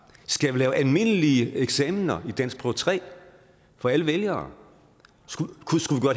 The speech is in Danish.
skal vi lave almindelige eksamener i danskprøve tre for alle vælgere skulle